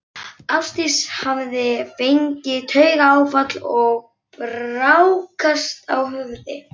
Ásdís hafði fengið taugaáfall og brákast á höfði.